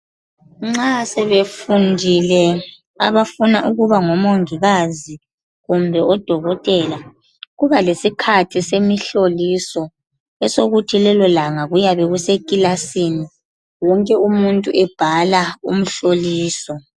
Nxa sebefundile abafuna ukuba ngo mongikazi kumbe odokotela Kuba lesikhathi semihloliso esokuthi lelolanga kuyabe kusekilasini wonke umuntu ebhala umhloliso